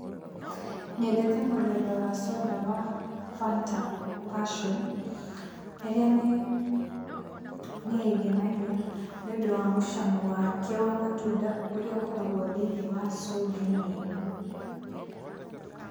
Nyendete mũthemba wa coda wa Fanta Passion ĩrĩa nĩ ĩngenagia nĩũndũ wa mũcamo wake wa matunda ũrĩa ũkoragwo thĩ-inĩ wa soda -inĩ ĩno.